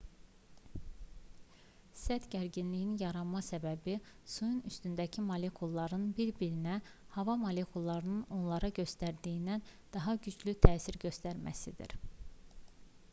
səth gərginliyinin yaranma səbəbi suyun üstündəki molekulların bir-birlərinə hava molekullarının onlara göstərdiyindən daha güclü təsir göstərməsidir